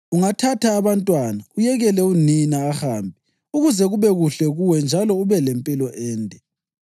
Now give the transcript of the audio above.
Ungathatha abantwana, uyekele unina ahambe ukuze kube kuhle kuwe njalo ube lempilo ende.